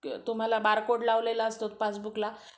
तुम्हाला बारकोड लावलेला असतो पासबुक ला